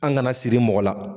An gana siri mɔgɔ la